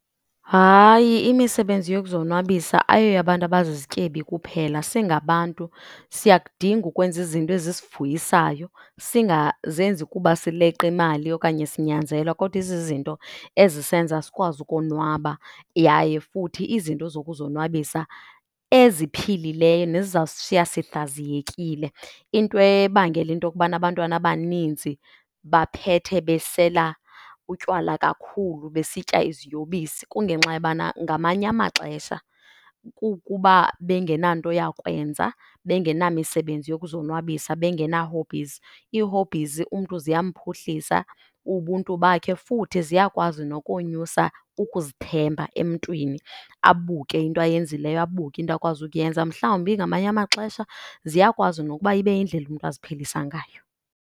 Hayi, imisebenzi yokuzonwabisa ayoyabantu abazizityebi kuphela. Singabantu siyakudinga ukwenza izinto ezisivuyisayo, singazenzi kuba sileqa imali okanye sinyanzelwa kodwa izizinto ezisenza sikwazi ukonwaba yaye futhi izinto zokuzonwabisa eziphilileyo nezizawusishiya sihlaziyekile. Into ebangela into yokubana abantwana abaninzi baphethe besela utywala kakhulu besitya iziyobisi kungenxa yobana ngamanye amaxesha kukuba bengenanto yakwenza, bengenamisebenzi yokuzonwabisa, bengena-hobbies. Ii-hobbies umntu ziyamphuhlisa ubuntu bakhe futhi ziyakwazi nokonyusa ukuzithemba emntwini, abuke into ayenzileyo, abuke into akwazi ukuyenza. Mhlawumbi ngamanye amaxesha ziyakwazi nokuba ibe yindlela umntu aziphilisa ngayo.